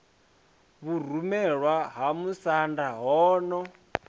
vhurumelwa ha musanda ho no